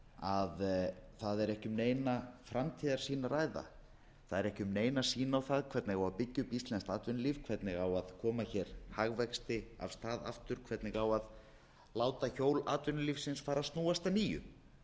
að það er ekki um neina framtíðarsýn að ræða það er ekki nein sýn á það hvernig á að byggja upp íslenskt atvinnulíf hvernig á að koma hagvexti af stað aftur hvernig á að láta hjól atvinnulífsins fara að snúast að nýju